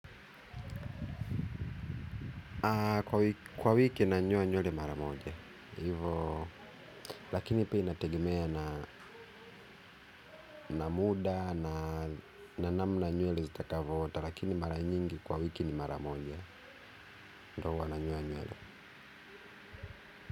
Kwa wiki nanyoa nywele mara moja hivyo lakini pia inategemea na na muda na namna nywele zitakavyoota lakini mara nyingi kwa wiki ni mara moja ndiyo huwa nanyoa nywele.